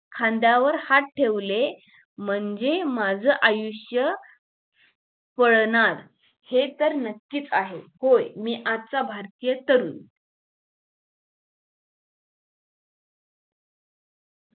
खांद्यावर हात ठेवले म्हणजे माझं आयुष्य फळणार हे तर नक्कीच आहे होय मी आजचा भारतीय तरुण